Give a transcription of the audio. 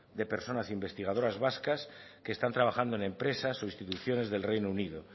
de personas investigadoras vascas que están trabajando en empresas o instituciones del reino unido